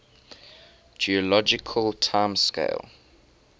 geologic time scale